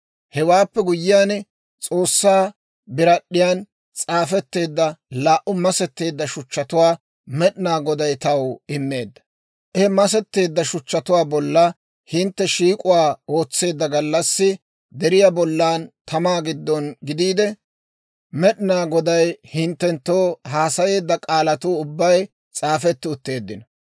Hewaappe guyyiyaan, S'oossaa birad'd'iyan s'aafetteedda laa"u masetteedda shuchchatuwaa Med'inaa Goday taw immeedda. He masetteedda shuchchatuu bolla hintte shiik'uwaa ootseedda gallassi deriyaa bollan tamaa giddon gidiide, Med'inaa Goday hinttenttoo haasayeedda k'aalatuu ubbay s'aafetti utteeddino.